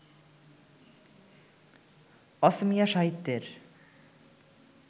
অসমীয়া সাহিত্যের